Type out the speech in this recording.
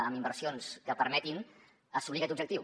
amb inversions que permetin assolir aquest objectiu